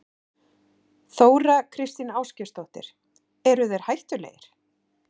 Þóra Kristín Ásgeirsdóttir: Eru þeir hættulegir?